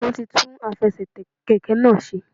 Wọ́n ti tún àfesètè kèké náà se